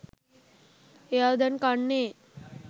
එයා දැන් කන්නේ